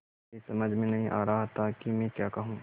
मेरी समझ में नहीं आ रहा था कि मैं क्या कहूँ